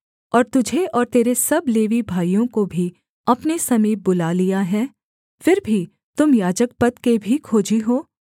और तुझे और तेरे सब लेवी भाइयों को भी अपने समीप बुला लिया है फिर भी तुम याजकपद के भी खोजी हो